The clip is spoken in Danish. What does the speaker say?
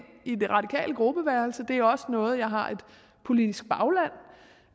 i det radikale gruppeværelse og det er også noget jeg har et politisk bagland